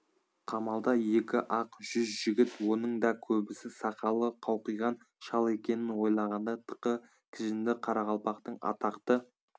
қамалда екі-ақ жүз жігіт оның да көбісі сақалы қауқиған шал екенін ойлағанда тықы кіжінді қарақалпақтың атақты